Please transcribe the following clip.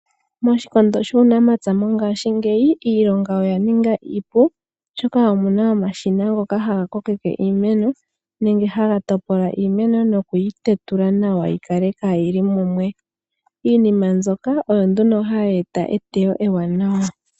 Moshikondo shuunamapya ngaashingeyi iilonga oya ninga iipu, oshoka omuna omashina ngoka haga ko keke iimeno nenge haga topola iimeno nokuyi te tula nawa yi kale kaayili mumwe. Iinima mbyoka oyo nduno hayi eta etewo ewanawa.